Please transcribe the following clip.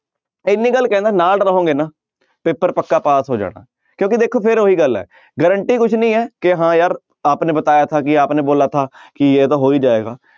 ਇੰਨੀ ਗੱਲ ਕਹਿਨਾ ਨਾਲ ਰਹੋਗੇ ਨਾ ਪੇਪਰ ਪੱਕਾ ਪਾਸ ਹੋ ਜਾਣਾ ਕਿਉਂਕਿ ਦੇਖੋ ਫਿਰ ਉਹੀ ਗੱਲ ਹੈ guarantee ਕੁਛ ਨੀ ਹੈ ਕਿ ਹਾਂ ਯਾਰ ਆਪ ਨੇ ਬਤਾਇਆ ਥਾ ਕਿ ਆਪ ਨੇ ਬੋਲਾ ਥਾ ਕਿ ਇਹ ਤਾਂ ਹੋ ਹੀ ਜਾਏਗਾ।